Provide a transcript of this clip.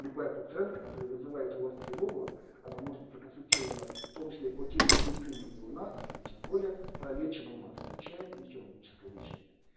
батут-центр который вызывает у вас тревогу она может проконсультировать в том числе по телемедицине и у нас более подходящего включая экономическое лечение